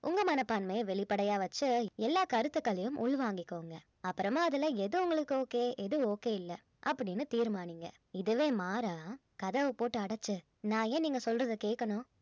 உங்க மனப்பான்மையை வெளிப்படையா வெச்சி எல்லா கருத்துக்களையும் உள்வாங்கிக்கோங்க அப்புறமா அதுல எது உங்களுக்கு okay எது okay இல்ல அப்படின்னு தீர்மானிங்க இதுவே மாறா கதவை போட்டு அடைச்சு நான் ஏன் நீங்க சொல்றதை கேட்கணும்